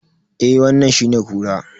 Eh wannan shine kura.